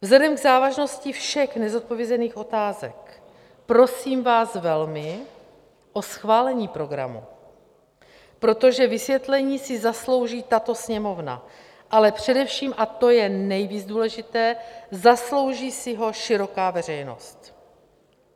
Vzhledem k závažnosti všech nezodpovězených otázek prosím vás velmi o schválení programu, protože vysvětlení si zaslouží tato Sněmovna, ale především, a to je nejvíc důležité, zaslouží si ho široká veřejnost.